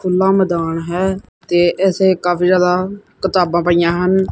ਖੁੱਲਾ ਮੈਦਾਨ ਹੈ ਤੇ ਇਸੇ ਕਾਫੀ ਜਿਆਦਾ ਕਿਤਾਬਾਂ ਪਈਆਂ ਹਨ।